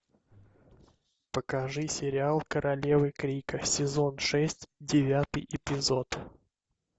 покажи сериал королевы крика сезон шесть девятый эпизод